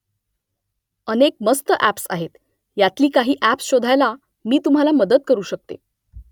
अनेक मस्त ॲप्स आहेत . यातली काही ॲप्स शोधायला मी तुम्हाला मदत करू शकते